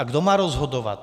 A kdo má rozhodovat?